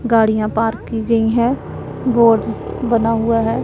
गाड़ियां पार्क की गई हैं बोर्ड बना हुआ है।